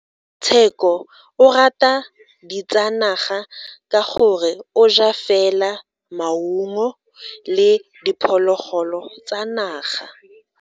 Tsheko o rata ditsanaga ka gore o ja fela maungo le diphologolo tsa naga.